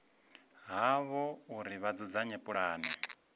havho uri vha dzudzanye pulane